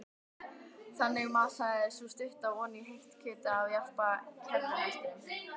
Þannig masaði sú stutta oní heitt kjötið af jarpa kerruhestinum.